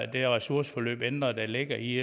det ressourceforløb ændret der ligger i